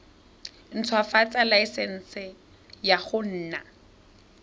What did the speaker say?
ntshwafatsa laesense ya go nna